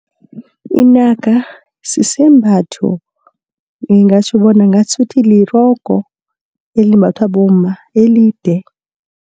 Inaka sisembatho ngingatjho bona ngasuthi lirogo elimbathwa bomma elide.